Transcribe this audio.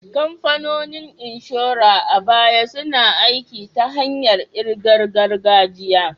Kamfanonin inshora a baya suna aiki ta hanyar ƙirar gargajiya.